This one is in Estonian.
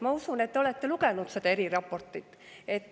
Ma usun, et te olete lugenud seda eriraportit.